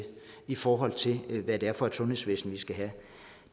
i forhold til hvad det er for et sundhedsvæsen vi skal have